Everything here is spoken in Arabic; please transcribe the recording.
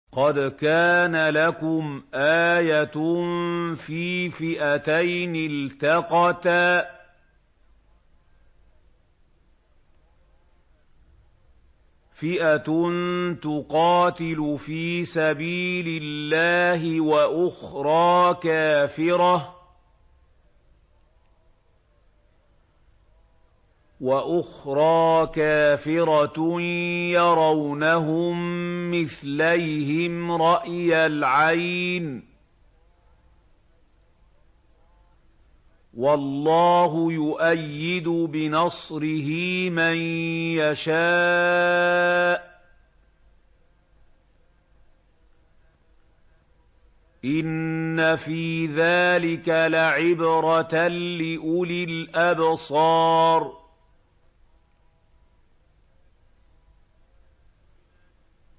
قَدْ كَانَ لَكُمْ آيَةٌ فِي فِئَتَيْنِ الْتَقَتَا ۖ فِئَةٌ تُقَاتِلُ فِي سَبِيلِ اللَّهِ وَأُخْرَىٰ كَافِرَةٌ يَرَوْنَهُم مِّثْلَيْهِمْ رَأْيَ الْعَيْنِ ۚ وَاللَّهُ يُؤَيِّدُ بِنَصْرِهِ مَن يَشَاءُ ۗ إِنَّ فِي ذَٰلِكَ لَعِبْرَةً لِّأُولِي الْأَبْصَارِ